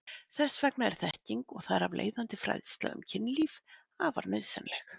Þess vegna er þekking og þar af leiðandi fræðsla um kynlíf afar nauðsynleg.